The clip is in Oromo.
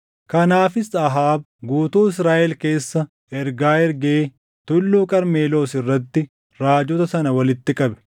Kanaafis Ahaab guutuu Israaʼel keessa ergaa ergee Tulluu Qarmeloos irratti raajota sana walitti qabe.